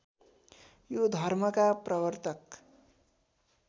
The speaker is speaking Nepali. यो धर्मका प्रवर्तक